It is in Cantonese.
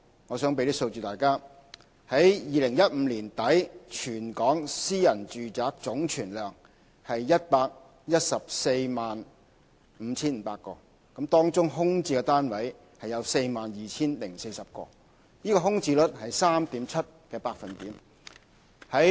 我想提供一些數字給大家：在2015年年底，全港私人住宅總存量是 1,145 500個，當中空置的單位有 42,040 個，空置率是 3.7%。